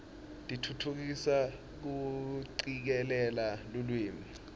tfutfukisa kucikelela lulwimi